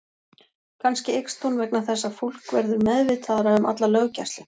Kannski eykst hún vegna þess að fólk verður meðvitaðra um alla löggæslu.